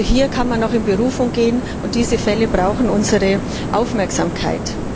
Also hier kann man noch in Berufung gehen, und diese Fälle brauchen unsere Aufmerksamkeit.